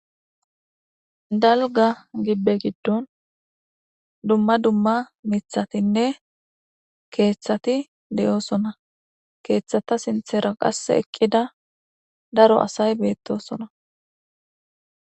dalga gibbe giddon dumma dumma mithatinne keeththati de7osona keeththata sinthera qasse eqqida daro asay beettosona